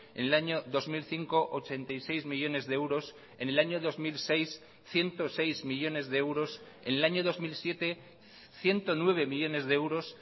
en el año dos mil cinco ochenta y seis millónes de euros en el año dos mil seis ciento seis millónes de euros en el año dos mil siete ciento nueve millónes de euros